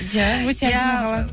иә өте әдемі қала